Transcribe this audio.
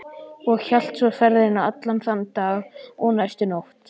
Og hélt svo ferðinni allan þann dag og næstu nótt.